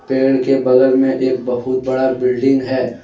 पेड़ के बगल में एक बहुत बड़ा बिल्डिंग है।